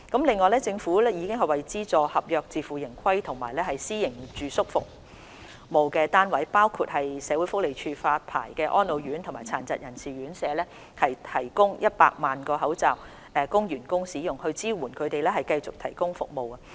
另外，政府已為資助、合約、自負盈虧及私營住宿服務單位，包括獲社會福利署發牌的安老院及殘疾人士院舍，提供100萬個口罩，供員工使用，以支援他們繼續提供服務。